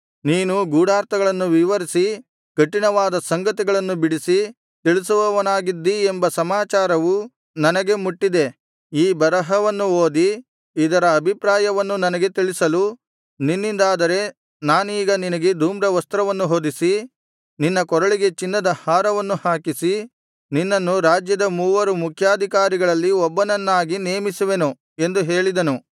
ನೀನು ಗೂಢಾರ್ಥಗಳನ್ನು ವಿವರಿಸಿ ಕಠಿಣವಾದ ಸಂಗತಿಗಳನ್ನು ಬಿಡಿಸಿ ತಿಳಿಸುವವನಾಗಿದ್ದೀ ಎಂಬ ಸಮಾಚಾರವು ನನಗೆ ಮುಟ್ಟಿದೆ ಈ ಬರಹವನ್ನು ಓದಿ ಇದರ ಅಭಿಪ್ರಾಯವನ್ನು ನನಗೆ ತಿಳಿಸಲು ನಿನ್ನಿಂದಾದರೆ ನಾನೀಗ ನಿನಗೆ ಧೂಮ್ರವಸ್ತ್ರವನ್ನು ಹೊದಿಸಿ ನಿನ್ನ ಕೊರಳಿಗೆ ಚಿನ್ನದ ಹಾರವನ್ನು ಹಾಕಿಸಿ ನಿನ್ನನ್ನು ರಾಜ್ಯದ ಮೂವರು ಮುಖ್ಯಾಧಿಕಾರಿಗಳಲ್ಲಿ ಒಬ್ಬನನ್ನಾಗಿ ನೇಮಿಸುವೆನು ಎಂದು ಹೇಳಿದನು